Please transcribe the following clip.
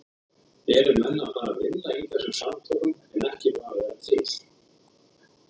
Eru menn að fara að vinna í þessum samtökum en ekki bara vera til?